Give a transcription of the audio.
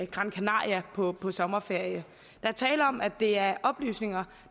gran canaria på på sommerferie der er tale om at det er oplysninger